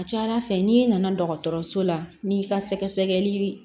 A ka ca ala fɛ n'i nana dɔgɔtɔrɔso la n'i ka sɛgɛsɛgɛli